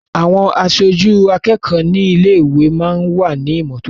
Àwọn aṣojú akẹ́kọ̀ọ́ ní ilé-ìwé máa ń wà ní ìmọ́tótó.